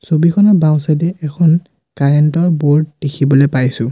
ছবিখনৰ বাওঁ ছাইডে এখন কাৰেণ্ট ৰ ব'ৰ্ড দেখিবলে পাইছোঁ।